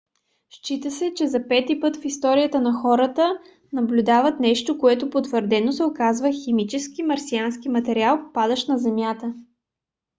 счита се че за пети път в историята хората наблюдават нещо което потвърдено се оказва химически марсиански материал падащ на земята